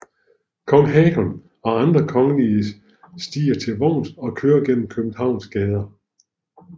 Kong Haakon og andre kongelige stiger til vogns og kører gennem Københavns gader